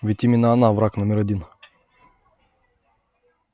ведь именно она враг номер один